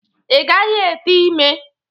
Ị gaghị ete ime!